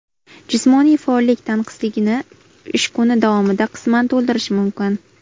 Jismoniy faollik tanqisligini ish kuni davomida qisman to‘ldirish mumkin.